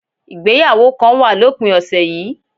Ìgbéyàwó kan wà lópin ọ̀sẹ̀ yìí